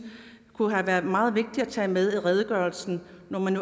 kunne have været meget vigtige at tage med i redegørelsen når man